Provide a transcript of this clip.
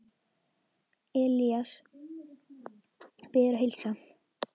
Elías biður að heilsa.